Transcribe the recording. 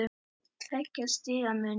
Tveggja stiga munur.